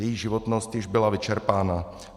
Její životnost již byla vyčerpána.